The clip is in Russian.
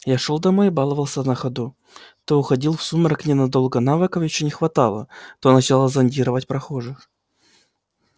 я шёл домой и баловался на ходу то уходил в сумрак ненадолго навыков ещё не хватало то начало зондировать прохожих